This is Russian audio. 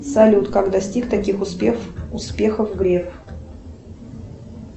салют как достиг таких успехов греф